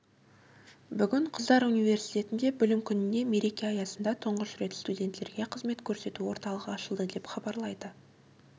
бүгін қыздар университетінде білім күніне мереке аясында тұңғыш рет студенттерге қызмет көрсету орталығы ашылды деп хабарлайды